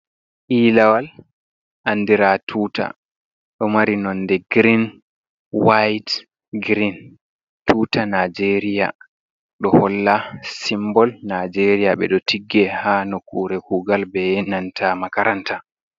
Elawal andira tuta, doh mari nonde girin wayit girin tuta naijeria. Doh holla simbol naijeria be do tigge ha nokure kugal be yenanta makaranta.